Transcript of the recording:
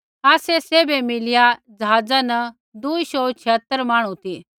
आसै सैभै मिलिया ज़हाज़ा न दूई शौऊ छियतर मांहणु ती